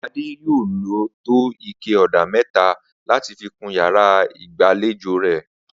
Adé yóò lò tó ike ò̩dà mé̩ta láti fi kun yàrá ìgbàlejò rè̩